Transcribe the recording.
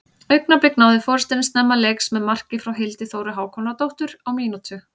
Augnablik náðu forystunni snemma leiks með marki frá Hildi Þóru Hákonardóttur á mínútu.